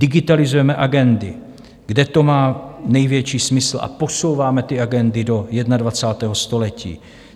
Digitalizujeme agendy, kde to má největší smysl, a posouváme ty agendy do 21. století.